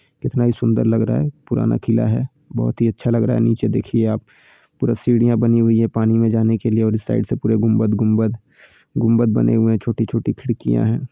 कितना ये सुन्दर लगा रहा है पुराना किला है बहोत ही अच्छा लग रहा है नीचे देखिये आप पूरा सीढ़ियां बनी हुई हैं पानी में जाने के लिए और इस साइड से पुरे गुम्बद गुम्बद गुम्बद बने हुए हैं छोटी छोटी खिड़कियां हैं।